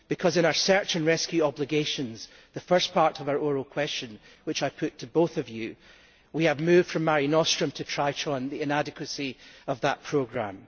In our search and rescue obligations the first part of our oral question which I put to both of you we have moved from Mare Nostrum to Triton the inadequacy of that programme.